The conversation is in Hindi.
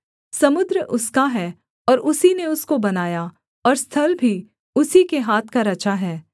समुद्र उसका है और उसी ने उसको बनाया और स्थल भी उसी के हाथ का रचा है